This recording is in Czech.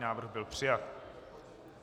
Návrh byl přijat.